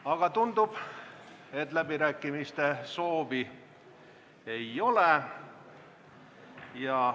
Aga tundub, et läbirääkimiste soovi ei ole.